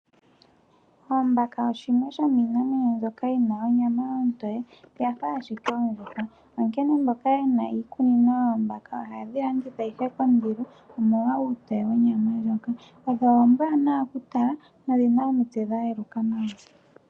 Oombaka shimwe shomiinamwenyo mbyoka yina onyama ontoy